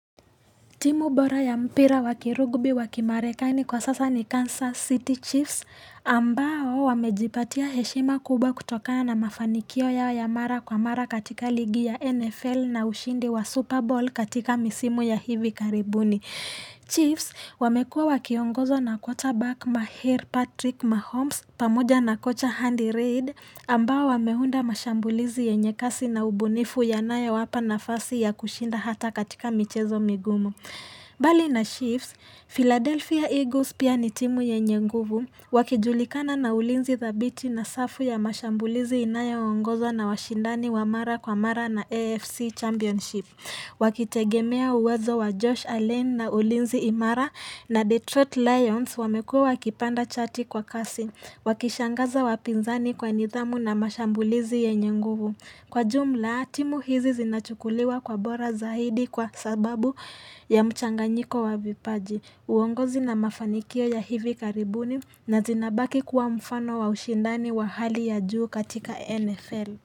Timu bora ya mpira wakirugbi wakimarekani kwa sasa ni Kansas City Chiefs ambao wamejipatia heshima kubwa kutokana na mafanikio yao ya mara kwa mara katika ligi ya NFL na ushindi wa Super Bowl katika misimu ya hivi karibuni. Chiefs wamekua wakiongozwa na quarterback mahir Patrick Mahomes pamoja na kocha Andy Reid ambao wameunda mashambulizi yenye kasi na ubunifu ya nayo wapa nafasi ya kushinda hata katika michezo migumu. Bali na shifts, Philadelphia Eagles pia ni timu yenye nguvu, wakijulikana na ulinzi thabiti na safu ya mashambulizi inaya ongozwa na washindani wa mara kwa mara na AFC Championship. Wakitegemea uwezo wa Josh Allen na ulinzi imara na Detroit Lions wamekuwa wakipanda chati kwa kasi, wakishangaza wapinzani kwa nidhamu na mashambulizi yenye nguvu. Kwa jumla, timu hizi zinachukuliwa kwa bora zaidi kwa sababu ya mchanganyiko wa vipaji. Uongozi na mafanikio ya hivi karibuni na zinabaki kuwa mfano wa ushindani wa hali ya juu katika NFL.